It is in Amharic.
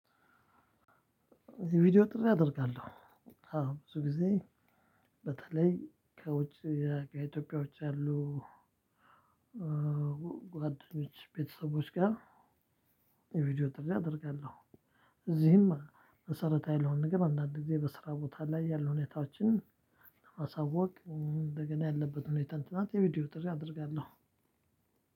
ቪዲዮ ጥሪ አደርጋለሁ። አዎ ብዙ ጊዜ በተለይ ከውጭ ከኢትዮጵያ ውጪ ያሉ ጓደኞች ቤተሰቦች ጋር የቪዲዮ ጥሪ አደርጋለሁ። እዚህም መሰረታዊ ለሆነ ነገር አንዳንድ ጊዜ በስራ ቦታ ላይ ያሉ ሁኔታዎችን ለማሳወቅ እንደገና ያለበት ሁኔታ እና የቪዲዮ ጥሪ አደርጋለሁ።